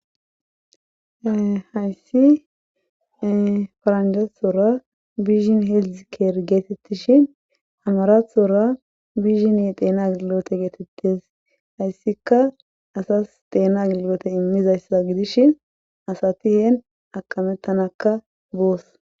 hayssi faranjatsora bishin heeldzikeer geetettishin amarathora bishin deena gilote geetettes hayssika asas deena gilote immizayssa gidishi asati heen akamettanakka boos